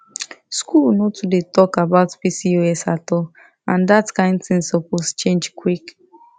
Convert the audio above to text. school no too dey talk about pcos at all and that kain thing suppose change quick